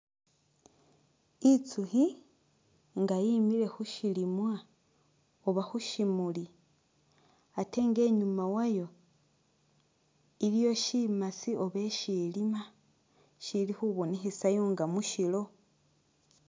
Itsukhi nga yimile khusilimwa oba khu shimuli ate nga inyuma wayo iliyo shimasi oba eshelima shili khubonekhesayo nga mushilo